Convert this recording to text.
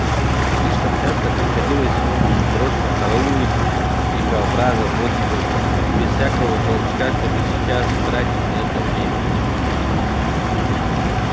слишком часто приходилось ему в прошлом караулить дикобразов вот так же без всякого толка чтобы сейчас тратить на это время